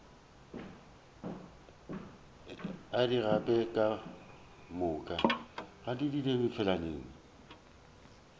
o di gape ka moka